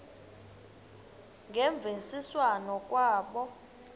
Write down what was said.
ngemvisiswano r kwabo